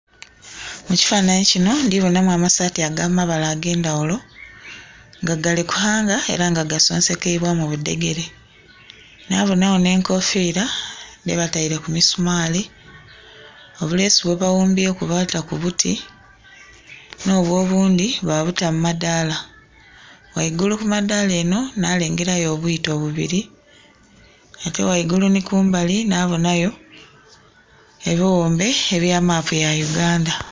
Mu kifananhi kinho ndhi bonhaku amasaati aga mabala agendhaghulo nga gali ku haanga era nga gasonsekeibwa mu budhegere nha bonha gho nhe enkofira dhe bataire ku misumali, obulesu bwe baghumbyeku baata ku buti nho bwo obundhi babuta mu madhala, ghaigulu ku madhala enho nha lengerayo obwiito bubiri ate ghaigulu nhi kumbali nha bonhayo ebighumbe ebya maapu ya Uganda.